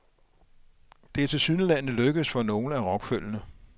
Det er tilsyneladende lykkedes for nogle af rockføllene.